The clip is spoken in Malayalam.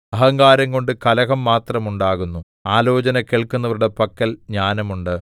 അഹങ്കാരംകൊണ്ട് കലഹം മാത്രം ഉണ്ടാകുന്നു ആലോചന കേൾക്കുന്നവരുടെ പക്കൽ ജ്ഞാനം ഉണ്ട്